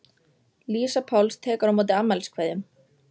Lísa Páls tekur á móti afmæliskveðjum.